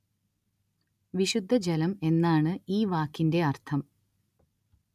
വിശുദ്ധ ജലം എന്നാണ് ഈ വാക്കിന്റെ അര്‍ത്ഥം